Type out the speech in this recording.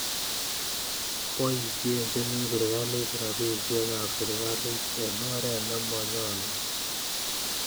Poisyen chemi sirikalit rapisyek ap sirikalit en oret ne manyolu